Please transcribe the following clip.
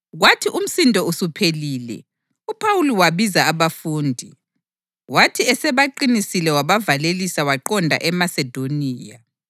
Kwathi umsindo usuphelile uPhawuli wabiza abafundi, wathi esebaqinisile wabavalelisa waqonda eMasedoniya.